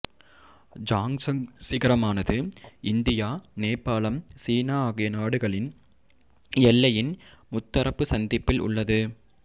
ஜாங்சங் சிகரமானது இந்தியா நேபாளம் சீனா ஆகிய நாடுகளின் எல்லையின் முத்தரப்பு சந்திப்பில் உள்ளது